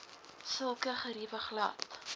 sulke geriewe glad